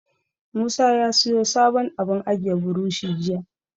Musa ya siyo sabon abun ajiye burushi jiya.